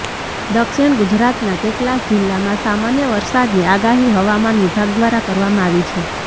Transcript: દક્ષિણ ગુજરાતના કેટલાક જિલ્લામાં સામાન્ય વરસાદની આગાહી હવામાન વિભાગ દ્વારા કરવામાં આવી છે